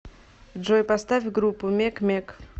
джой поставь группу мег м е г